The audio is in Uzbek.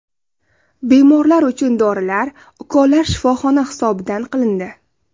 Bemorlar uchun dorilar, ukollar shifoxona hisobidan qilindi.